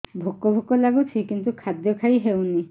ଭୋକ ଭୋକ ଲାଗୁଛି କିନ୍ତୁ ଖାଦ୍ୟ ଖାଇ ହେଉନି